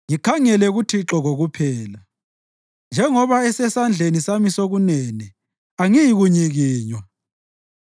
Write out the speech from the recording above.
Ngikhangele kuThixo kokuphela. Njengoba esesandleni sami sokunene angiyi kunyikinywa.